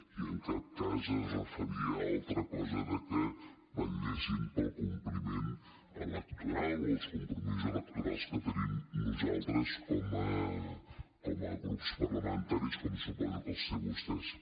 i en cap cas es referia a altra cosa que vetllessin pel compliment electoral o els compromisos electorals que tenim nosaltres com a grups parlamentaris com suposo que els tenen vostès